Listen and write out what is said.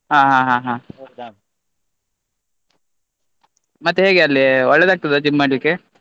ಹಾ ಹಾ ಹಾ ಹಾ ಮತ್ತೆ ಹೇಗೆ ಅಲ್ಲಿ ಒಳ್ಳೇದಾಗ್ತದ gym ಮಾಡ್ಲಿಕ್ಕೆ?